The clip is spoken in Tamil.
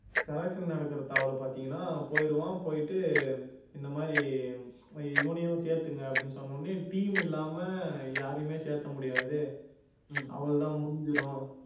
selection நடக்குற தாவலை பார்த்தீங்கன்னா போயிடுவான் போயிட்டு இந்த மாதிரி இவனையும் சேர்த்துக்கோங்க அப்படின்னு சொன்ன உடனே team இல்லாம யாரையுமே சேர்த்த முடியாது அவ்வளவுதான் முடிஞ்சிரும்